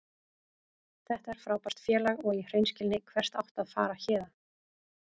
Þetta er frábært félag og í hreinskilni, hvert áttu að fara héðan?